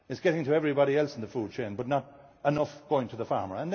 farmer. It is getting to everybody else in the food chain but not enough is going to the